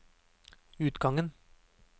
utgangen